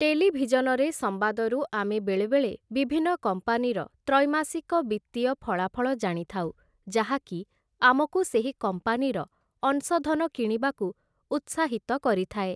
ଟେଲିଭିଜନରେ ସମ୍ବାଦରୁ ଆମେ ବେଳେବେଳେ ବିଭିନ୍ନ କମ୍ପାନୀର ତ୍ରୈମାସିକ ବିତ୍ତୀୟ ଫଳାଫଳ ଜାଣିଥାଉ ଯାହାକି ଆମକୁ ସେହି କମ୍ପାନୀର ଅଂଶଧନ କିଣିବାକୁ ଉତ୍ସାହିତ କରିଥାଏ ।